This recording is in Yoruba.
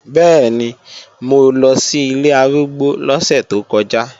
Bẹ́ẹ̀ni, mo lọ sí ilé arúgbó lọ́sẹ̀ tó kọjá